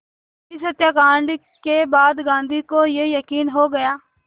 इस हत्याकांड के बाद गांधी को ये यक़ीन हो गया